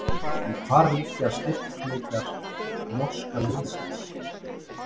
En hvar liggja styrkleikar norska liðsins?